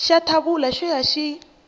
xa thawula xo ya xi